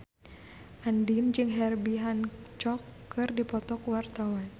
Andien jeung Herbie Hancock keur dipoto ku wartawan